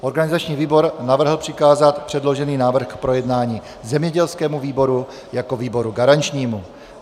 Organizační výbor navrhl přikázat předložený návrh k projednání zemědělskému výboru jako výboru garančnímu.